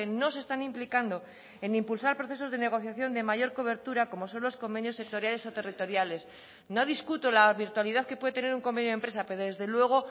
no se están implicando en impulsar procesos de negociación de mayor cobertura como son los convenios sectoriales o territoriales no discuto la virtualidad que puede tener un convenio de empresa pero desde luego